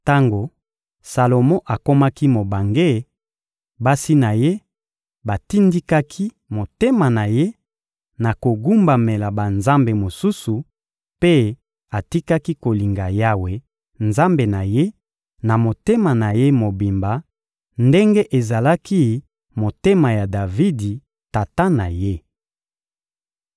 Tango Salomo akomaki mobange, basi na ye batindikaki motema na ye na kogumbamela banzambe mosusu; mpe atikaki kolinga Yawe, Nzambe na ye, na motema na ye mobimba ndenge ezalaki motema ya Davidi, tata na ye.